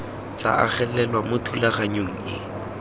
tsa agelelwa mo thulaganyong e